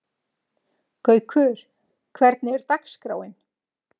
Gaukur, hvernig er dagskráin?